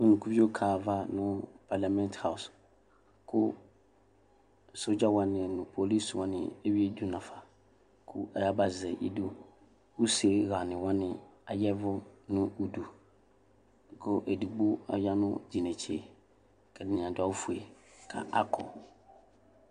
Unukuvio kaɣa ayava nʋ parlɩamɩnt aɔs kʋ sɔdza wanɩ nʋ polis wanɩ eyuidu nafa kʋ ayabazɛ idu Useɣanɩ wanɩ aya ɛvʋ nʋ udu Kʋ edigbo aya nʋ tʋ inetse kʋ ɛdɩnɩ adʋ awʋfue kʋ akɔ